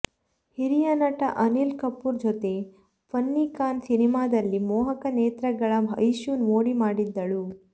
ಹಿರಿಯ ನಟ ಅನಿಲ್ ಕಪೂರ್ ಜೊತೆ ಫನ್ನಿ ಖಾನ್ ಸಿನಿಮಾದಲ್ಲಿ ಮೋಹಕ ನೇತ್ರಗಳ ಐಶು ಮೋಡಿ ಮಾಡಿದ್ದಳು